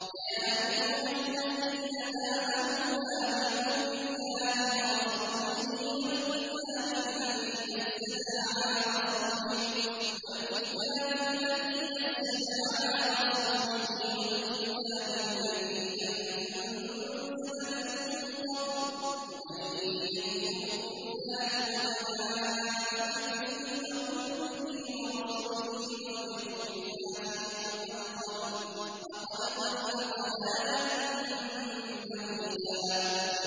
يَا أَيُّهَا الَّذِينَ آمَنُوا آمِنُوا بِاللَّهِ وَرَسُولِهِ وَالْكِتَابِ الَّذِي نَزَّلَ عَلَىٰ رَسُولِهِ وَالْكِتَابِ الَّذِي أَنزَلَ مِن قَبْلُ ۚ وَمَن يَكْفُرْ بِاللَّهِ وَمَلَائِكَتِهِ وَكُتُبِهِ وَرُسُلِهِ وَالْيَوْمِ الْآخِرِ فَقَدْ ضَلَّ ضَلَالًا بَعِيدًا